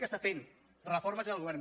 que està fent reformes és el govern de